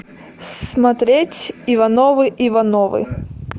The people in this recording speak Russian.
смотреть ивановы ивановы